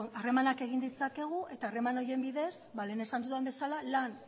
harremanak egin ditzakegu eta harreman horien bidez ba lehen esan dudan bezala lan